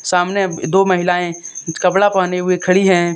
सामने दो महिलाए कपड़ा पहने हुए खड़ी है।